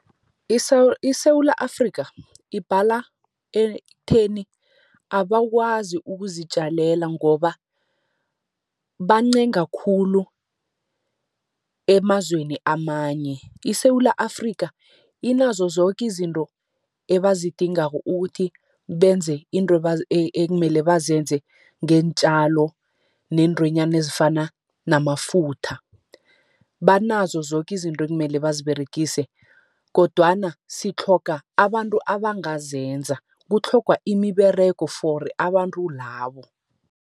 iSewula Afrikha, ibhala ekutheni abakwazi ukuzitjalela, ngoba bancenga khulu emazweni amanye. ISewula Afrikha, inazo zoke izinto ebazidingako ukuthi benze izinto ekumele bazenze, ngeentjalo neentwenyana ezifana namafutha. Banazo zoke izinto ekumele baziberegise kodwana sitlhoga abantu abangazenza, kutlhogwa imiberego for abantu labo.